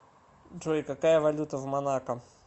джой какая валюта в монако